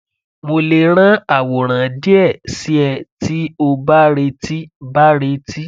mo le ran aworan die si e ti o ba reti ba reti